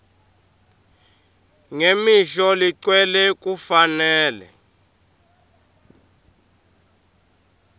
ngemisho legcwele kufanele